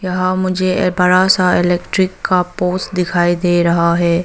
यहां मुझे बड़ा सा इलेक्ट्रिक का पोस्ट दिखाई दे रहा है।